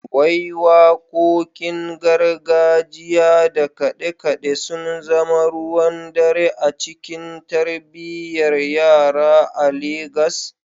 Wai Wakokin gargajiya da kade-kade sun zama ruwan dare a cikin tarbiyyar yara a Legas?